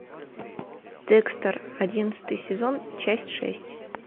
декстер одиннадцатый сезон часть шесть